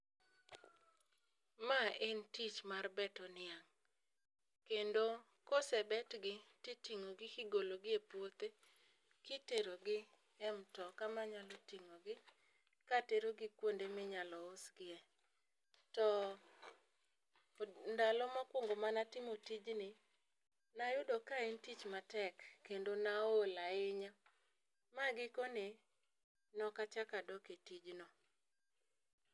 Ma en tich mar beto niang' kendo kosebet gi titing'o gi igologi e puothe kitero gi e mtoka manyalo ting'o gi katero gi kuonde minyalo usgi e . To ndalo mokwongo manatimo tijni nayudo ka en tich matek kendo naol ahinya ma gikone nokachaka dok e tijno.